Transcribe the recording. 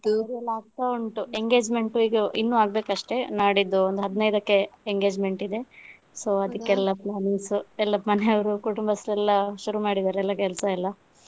ತಯಾರಿ ಎಲ್ಲ ಆಗ್ತಾ ಉಂಟು engagement ಇನ್ನು ಆಗ್ಬೇಕಷ್ಟೆ ನಾಡಿದ್ದು ಒಂದ್ ಹದಿನೈದಕ್ಕೆ engagement ಇದೆ so ಅದಿಕ್ಕೆಲ್ಲ plannings ಎಲ್ಲ ಮನೆಯವರು ಕುಟುಂಬಸ್ಥರೆಲ್ಲ ಶುರು ಮಾಡಿದ್ದಾರೆ ಎಲ್ಲ ಕೆಲಸ ಎಲ್ಲ.